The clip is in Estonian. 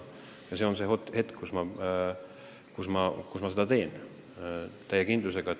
Ja see on nüüd see hetk, mil ma teen seda täie kindlusega.